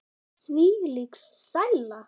Þvílík sæla.